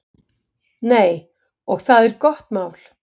Nei, og það er gott mál.